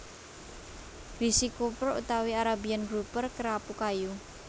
Greasy Grouper utawi Arabian Grouper Kerapu kayu